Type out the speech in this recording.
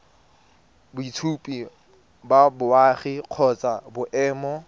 boitshupo ba boagi kgotsa boemo